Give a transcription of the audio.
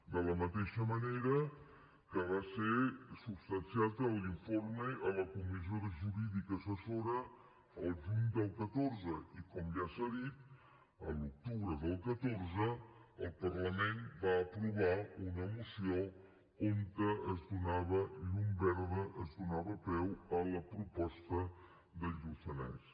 de la mateixa manera que va ser substanciat l’informe a la comissió jurídica assessora el juny del catorze i com ja s’ha dit l’octubre del catorze el parlament va aprovar una moció on es donava llum verda es donava peu a la proposta del lluçanès